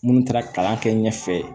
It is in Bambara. Minnu taara kalan kɛ ɲɛfɛ